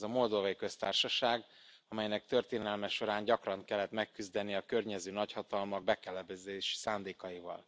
Ez a Moldovai Köztársaság, amelynek történelme során gyakran kellett megküzdenie a környező nagyhatalmak bekebelezési szándékaival.